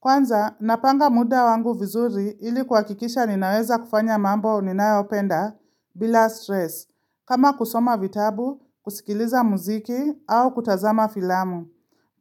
Kwanza, napanga muda wangu vizuri ili kuhakikisha ninaweza kufanya mambo ninayopenda bila stress, kama kusoma vitabu, kusikiliza muziki au kutazama filamu.